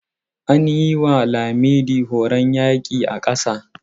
An yi ma Laminde horon yaƙi a ƙasa.